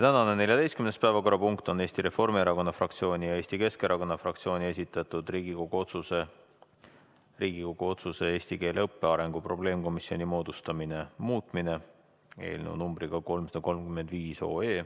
Tänane 14. päevakorrapunkt on Eesti Reformierakonna fraktsiooni ja Eesti Keskerakonna fraktsiooni esitatud Riigikogu otsuse "Riigikogu otsuse "Eesti keele õppe arengu probleemkomisjoni moodustamine" muutmine" eelnõu numbriga 335.